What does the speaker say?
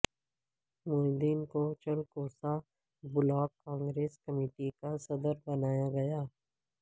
معین الدین کو Chalkusa block Congress committee کا صدر بنایا گیا